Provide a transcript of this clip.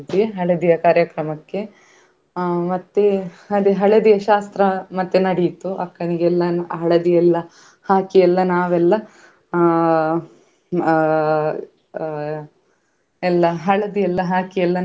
ಯಾವ ರೀತಿಯ ಪ್ರಾಣಿ, ಆ ಅದ್ರ ಬಗ್ಗೆ ಎಲ್ಲಾ ಹೇಳಿದ್ರು. ಹಾಗೇಯಾ ಆ ಆ ಅದಕ್ಕೆ ಇರುವ ಬೇರೆ ಬೇರೆ ಹೆಸರುಗಳನ್ನು ಹೇಳಿದ್ರು, ಆಮೇಲೆ ನಮ್ಗೆ ಅದ್ರ ಬಗ್ಗೆ ತುಂಬಾ ಮಾಹಿತಿಯನ್ನು ಕೊಟ್ರು ಆಗ ನಮ್ಗೆ ಅಲ್ಲಿ ಆ ಆಮೇಲೆ ನಮ್ಗೆ.